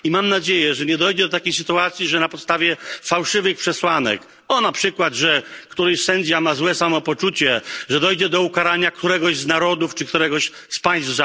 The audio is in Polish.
I mam nadzieję, że nie dojdzie do takiej sytuacji, że na podstawie fałszywych przesłanek o, na przykład, że któryś sędzia ma złe samopoczucie dojdzie do ukarania któregoś z narodów czy któregoś z państw.